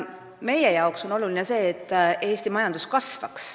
Meie jaoks on oluline see, et Eesti majandus kasvaks.